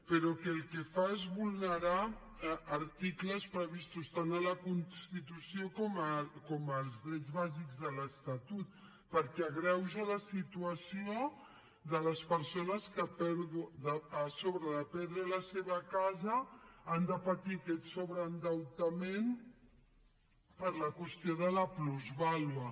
però el que fa és vulnerar articles previstos tant a la constitució com als drets bàsics de l’estatut perquè agreuja la situació de les persones que a sobre de perdre de la seva casa han de patir aquest sobreendeutament per la qüestió de la plusvàlua